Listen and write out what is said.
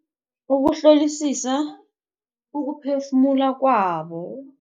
Ukuhlolisisa ukuphefumula kwabo.